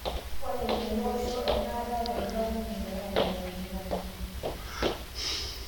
Ore telikai osho enaata eton duake kingira amirare enkikombe